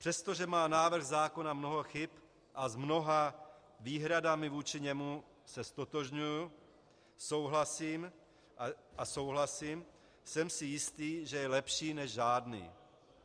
Přestože má návrh zákona mnoho chyb a s mnoha výhradami vůči němu se ztotožňuji a souhlasím, jsem si jistý, že je lepší než žádný.